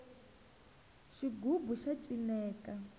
xigubu xa cineka